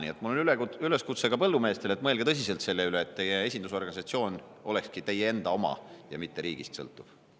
Nii et mul on üleskutse ka põllumeestele, et mõelge tõsiselt selle üle, et teie esindusorganisatsioon olekski teie enda oma ja mitte riigist sõltuv.